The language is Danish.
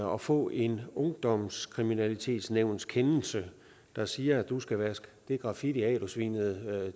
og få en ungdomskriminalitetsnævnskendelse der siger at du skal vaske det graffiti af du svinede